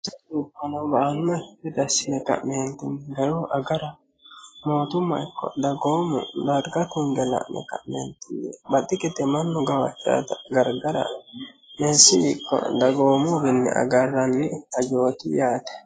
Dubbuno ba'anokki gede assine agara mootumma ikko dagoomu darga tunge ka'ne baxi gede mannu gawajanotta garigara meessiwi ikko dagoomuwi agaranni hajjoti yaate.